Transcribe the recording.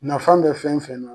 Nafan bɛ fɛn fɛn na